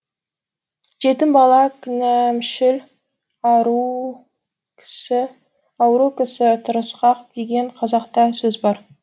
жетім бала кінәмшіл ауру кісі тырысқақ деген қазақта сөз бар